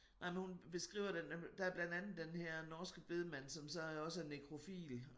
Nej men hun beskriver det nemlig der er blandt andet den her norske bedemand som så også er nekrofil